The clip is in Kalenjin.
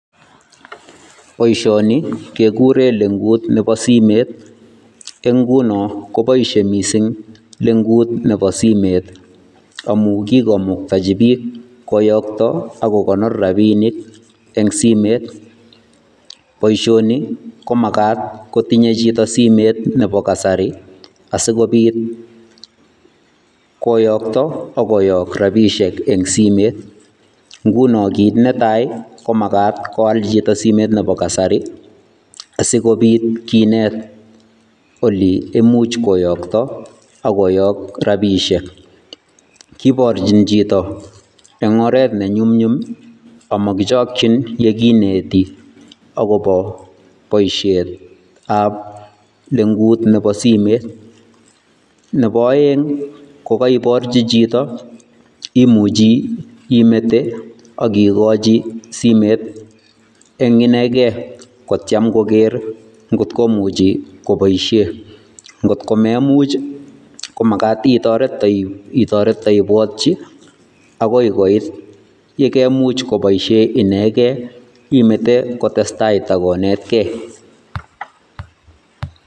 Boishoni kekureen legut nebo simeet, en ingunon koboishie missing lengut Nebo simet kikomuktochi book koyookto ak kokonoor rabinik en simet, boishoni komagat kotinye chito simeet Nebo kasari asikobiit koyokto ak koyook rabinik en simet, ngunon kit netai komagat koal chito simetab kasari asikoobit kinet oleimuch kiyookto ak koyok rabishek. Kiborchi chito en oret nenyumnyum ak mokichokchin yekineti akobo boishiet ab lengut nebo simet, nebo oeng kokeiborchi chito imuche ikochi simet en inekem kotiem koker ngot komuche koboishen, ngot komemuch komagat itoret iteiborchi yekeimuch koboishen inegen imete koboishen inegen